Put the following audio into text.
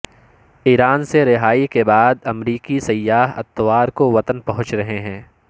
ایران سے رہائی کے بعد امریکی سیاح اتوار کو وطن پہنچ رہے ہیں